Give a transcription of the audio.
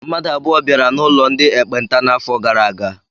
Mmadụ abụọ bịara n'ụlọ ndị ekpenta n'afọ gara aga.